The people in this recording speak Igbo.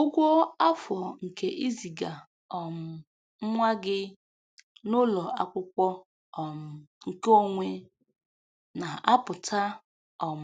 Ụgwọ afọ nke iziga um nwa gị n'ụlọ akwụkwọ um nke onwe na aputa um